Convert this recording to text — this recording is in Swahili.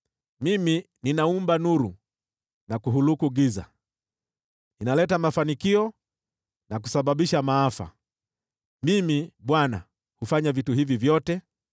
Mimi ninaumba nuru na kuhuluku giza, ninaleta mafanikio na kusababisha maafa. Mimi, Bwana , huyatenda haya yote.